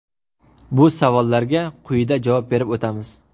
Bu savollarga quyida javob berib o‘tamiz.